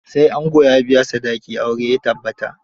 Sai ango ya biya sadaki aure ya tabbata.